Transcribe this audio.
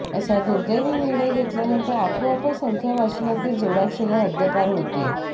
असा दुर्दैवी निर्णय घेतल्यानंतर आपोआपच संख्या वाचनातील जोडाक्षरे हद्दपार होतील